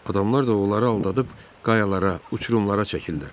Adamlar da onları aldadıb qayalara, uçurumlara çəkirlər.